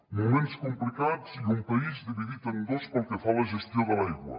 moments complicats i un país dividit en dos pel que fa a la gestió de l’aigua